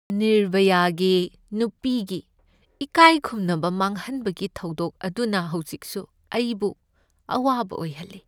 ꯅꯤꯔꯚꯌꯒꯤ ꯅꯨꯄꯤꯒꯤ ꯏꯀꯥꯏꯈꯨꯝꯅꯕ ꯃꯥꯡꯍꯟꯕꯒꯤ ꯊꯧꯗꯣꯛ ꯑꯗꯨꯅ ꯍꯧꯖꯤꯛꯁꯨ ꯑꯩ ꯕꯨ ꯑꯋꯥꯕ ꯑꯣꯏꯍꯜꯂꯤ ꯫